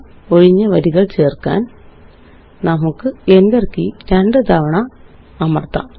ഒഴിഞ്ഞ വരികള് ചേര്ക്കാന് നമുക്ക് Enter കീ രണ്ടുതവണ അമര്ത്താം